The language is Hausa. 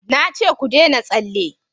na ce ku dena tsalle!